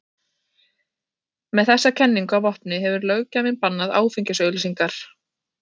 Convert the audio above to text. Með þessa kenningu að vopni hefur löggjafinn bannað áfengisauglýsingar.